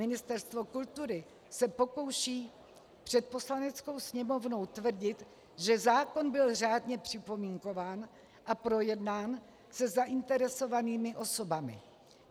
Ministerstvo kultury se pokouší před Poslaneckou sněmovnou tvrdit, že zákon byl řádně připomínkován a projednán se zainteresovanými osobami.